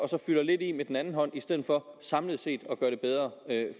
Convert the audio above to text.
fylder lidt i med den anden hånd i stedet for samlet set at gøre det bedre